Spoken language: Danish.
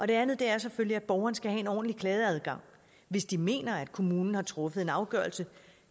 det andet er selvfølgelig at borgerne skal have en ordentlig klageadgang hvis de mener at kommunen har truffet en afgørelse